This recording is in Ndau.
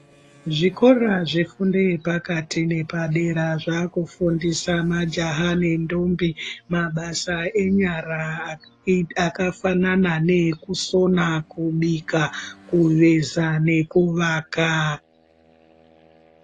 Zvikora zvefundo yepakati nepadera zvakufundisa majaha nendombi mabasa enyara akafanana neekusona, kana kubika, kuveza nekuvaka.